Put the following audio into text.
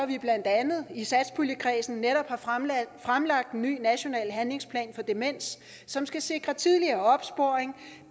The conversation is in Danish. vi blandt andet i satspuljekredsen netop har fremlagt en ny national handlingsplan for demens som skal sikre tidligere opsporing